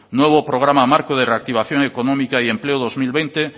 nuevo programa marco de reactivación economía y empleo dos mil veinte